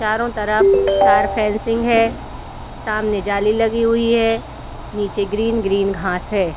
चारो तरफ तार फेंसिंग है। सामने जाली लगी हुई है। नीचे ग्रीन ग्रीन घास है।